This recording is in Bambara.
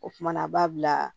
O kumana b'a bila